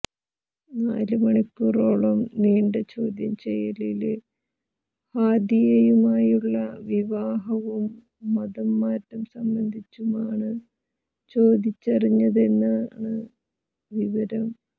നാല് മണിക്കൂറോളം നീണ്ട ചോദ്യം ചെയ്യലില് ഹാദിയയുമായുളള വിവാഹവും മതംമാറ്റം സംബന്ധിച്ചുമാണ് ചോദിച്ചറിഞ്ഞതെന്നാണ് വിവരം